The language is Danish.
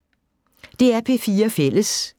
DR P4 Fælles